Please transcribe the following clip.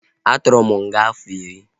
A tụrụ m nga afọ iri